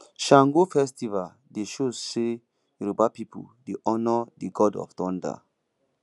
sango festival dey show sey yoruba pipu dey honour di god of thunder